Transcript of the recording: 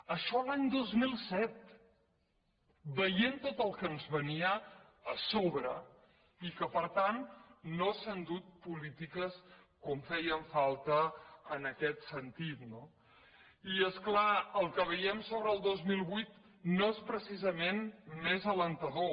això l’any dos mil set veien tot el que ens venia a sobre i que per tant no s’han dut polítiques com feien falta en aquest sentit no i és clar el que veiem sobre el dos mil vuit no és precisament més encoratjador